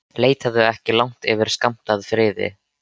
Leitaðu ekki langt yfir skammt að friði.